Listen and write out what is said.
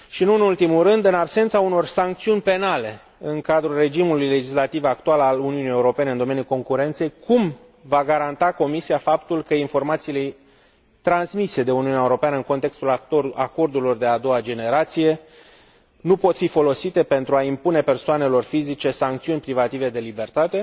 În absența unor sancțiuni penale în cadrul regimului legislativ actual al Uniunii Europene în domeniul concurenței, cum va garanta Comisia faptul că informațiile transmise de Uniunea Europeană în contextul acordurilor de a doua generație nu pot fi folosite pentru a impune persoanelor fizice sancțiuni privative de libertate?